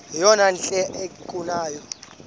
yeyom hle kanyawo